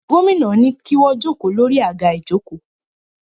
Gómìnà ní kí wọ́n jókòó lórí àga ìjókòó